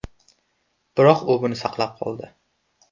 Biroq u buni saqlab qoldi.